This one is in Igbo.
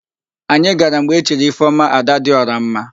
Anyị gara mgbe e chiri Ifeọma, Adadịọramma.